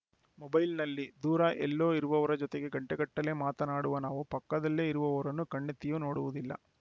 ಮೊಬೈಲ್‌ನಲ್ಲಿ ದೂರ ಎಲ್ಲೋ ಇರುವವರ ಜೊತೆಗೆ ಗಂಟೆಗಟ್ಟಲೇ ಮಾತನಾಡುವ ನಾವು ಪಕ್ಕದಲ್ಲೇ ಇರುವವರನ್ನು ಕಣ್ಣೆತ್ತಿಯೂ ನೋಡುವುದಿಲ್ಲ